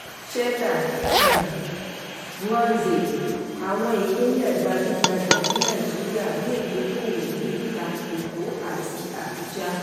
cheta um nwanze: àwọn ìpínlẹ̀ gbajúgbajà ní nàìjíríà yóò dókòwò ní ìta èkó àti abuja.